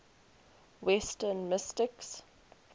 western mystics